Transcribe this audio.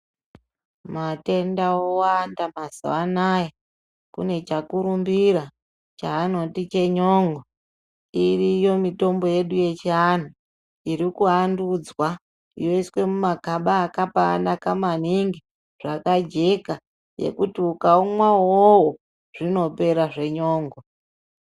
Matenda owanda mazuva anaya. Kune chakurumbira chaanoti chenyon'o. Iriyo mitombo yedu yechianhu iri kuvandudzwa yoiswe mumagaba akambanaka maningi, zvakajeka ekuti ukaumwa uwowo, zvinopera zvenyon'o.